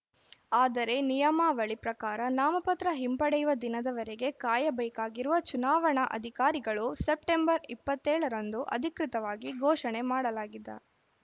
ಆದರೆ ನಿಯಮಾವಳಿ ಪ್ರಕಾರ ನಾಮಪತ್ರ ಹಿಂಪಡೆಯುವ ದಿನದವರೆಗೆ ಕಾಯಬೇಕಾಗಿರುವ ಚುನಾವಣಾವಧಿಕಾರಿಗಳು ಸೆಲ್ಸಿಯಸ್ ಸೆಪ್ಟೆಂಬರ್ ಇಪ್ಪತ್ತ್ ಏಳರಂದು ಅಧಿಕೃತವಾಗಿ ಘೋಷಣೆ ಮಾಡಲಾಗಿದ